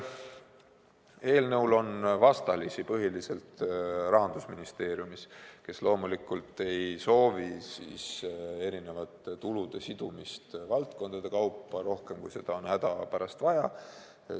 Eelnõul on vastalisi põhiliselt Rahandusministeeriumis, kes loomulikult ei soovi erinevate tulude sidumist valdkondade kaupa rohkem, kui seda on hädapärast vaja.